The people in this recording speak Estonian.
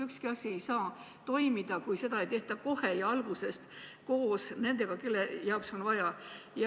Ükski asi ei saa toimida, kui seda ei tehta kohe algusest peale koos nendega, kelle jaoks seda kõike on vaja.